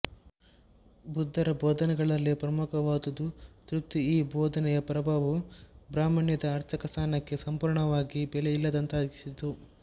ಬುದ್ಧರ ಬೋಧನೆಗಳಲ್ಲಿ ಪ್ರಮುಖವಾದುದು ತೃಪ್ತಿ ಈ ಬೋಧನೆಯ ಪ್ರಭಾವವು ಬ್ರಾಹ್ಮಣ್ಯದ ಅರ್ಚಕಸ್ಥಾನಕ್ಕೆ ಸಂಪೂರ್ಣವಾಗಿ ಬೆಲೆಯಿಲ್ಲದಂತಾಗಿಸಿತು